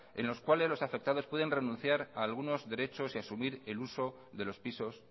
en los cuales los afectados pueden renunciar a algunos derechos y asumir el uso de los pisos